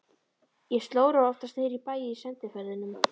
Ég slóraði oftast niðri í bæ í sendiferðunum.